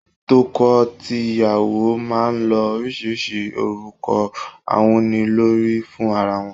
Toko tìyàwó máa ń lo oríṣiríṣi orúkọ awúnilórí fún ara wọn.